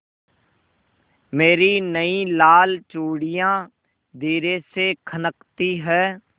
मेरी नयी लाल चूड़ियाँ धीरे से खनकती हैं